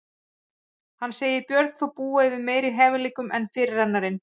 Hann segir Björn þó búa yfir meiri hæfileikum en fyrirrennarinn.